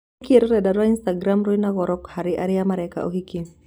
Nĩkĩĩ rũrenda rwa Instagramu rwĩna goro harĩ arĩa mareka ũhiki?